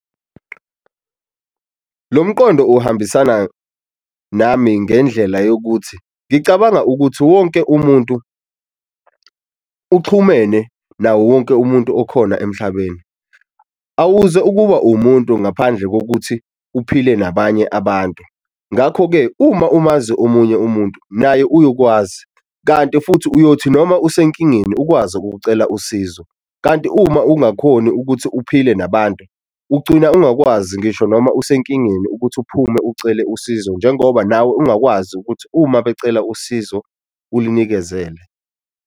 Lo mqondo uhambisana nami ngendlela yokuthi ngicabanga ukuthi wonke umuntu uxhumene nawo wonke umuntu okhona emhlabeni, awuze ukuba umuntu ngaphandle kokuthi uphile nabanye abantu, ngakho-ke uma umazi omunye umuntu naye uyokwazi kanti futhi uyothi noma usenkingeni ukwazi ukucela usizo. Kanti uma ungakhoni ukuthi uphile nabantu, ugcina ungakwazi ngisho noma usenkingeni ukuthi uphume ucele usizo njengoba nawe ungakwazi ukuthi uma becela usizo ulinikezele.